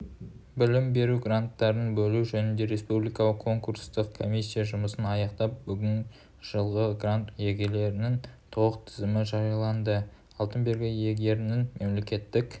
білім беру гранттарын бөлу жөніндегі республикалық конкурстық комиссия жұмысын аяқтап бүгін жылғы грант иелерінің толық тізімі жарияланды алтын белгі иегерінің мемлекеттік